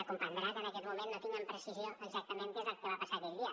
ha de comprendre que en aquest moment no tinc amb precisió exactament què és el que va passar aquell dia